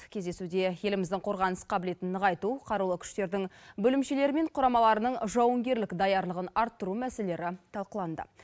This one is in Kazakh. кездесуде еліміздің қорғаныс қабілетін нығайту қарулы күштердің бөлімшелері мен құрамаларының жауынгерлік даярлығын арттыру мәселелері талқыланды